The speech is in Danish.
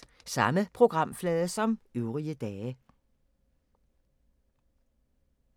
Samme programflade som øvrige dage